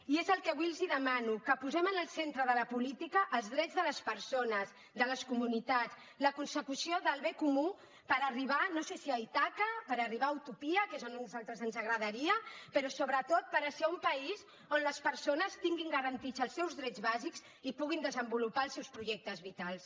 i és el que avui els demano que posem en el centre de la política els drets de les persones de les comunitats la consecució del bé comú per arribar no sé si a ítaca per arribar a utopia que és a on nosaltres ens agradaria però sobretot per ser un país on les persones tinguin garantits els seus drets bàsics i puguin desenvolupar els seus projectes vitals